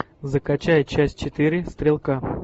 закачай часть четыре стрелка